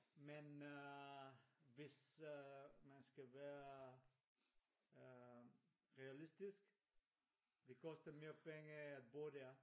Men øh hvis øh man skal være øh realistisk det koster mere penge at på dér